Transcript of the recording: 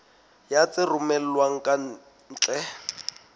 ya tse romellwang ka ntle